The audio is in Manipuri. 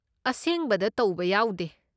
ꯑꯁꯦꯡꯕꯗ ꯇꯧꯕ ꯌꯥꯎꯗꯦ꯫